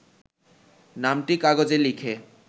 নামটি কাগজে লিখে